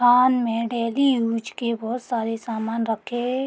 कान में daily use के बहोत सारे सामान रखें --